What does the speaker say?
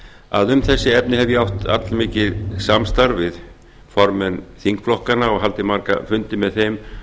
að um þessi efni hef ég átt allmikið samstarf við formenn þingflokkanna og haldið marga fundi með þeim